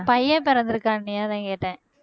பையன் பிறந்திருக்கான்னியே அதான் கேட்டேன்